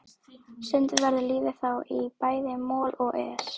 Stundum verður lífið þá í bæði moll og es.